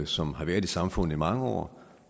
som har været i samfundet i mange år